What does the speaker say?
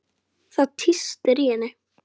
Það tístir í henni.